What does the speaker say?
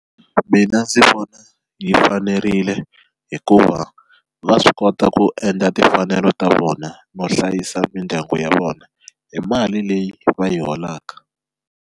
Mina ndzi vona yi fanerile hikuva va swi kota ku endla timfanelo ta vona no hlayisa mindyangu ya vona hi mali leyi va yi holaka.